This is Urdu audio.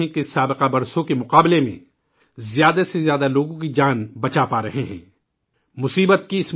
اب ہم دیکھ رہے ہیں کہ پچھلے وقت کےمقابلے ، اب ہم زیادہ سے زیادہ لوگوں کی جان بچانے کے قابل ہوئے ہیں